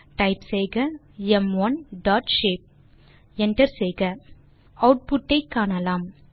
type செய்க ம்1 dot shape enter செய்க ஆட்புட் ஐ காணலாம்